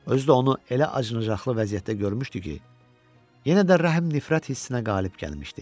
Özü də onu elə acınacaqlı vəziyyətdə görmüşdü ki, yenə də rəhm nifrət hissinə qalib gəlmişdi.